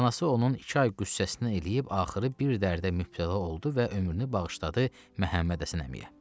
Anası onun iki ay qüssəsini eləyib axırı bir dərdə mübtəla oldu və ömrünü bağışladı Məhəmmədhəsən əmiyə.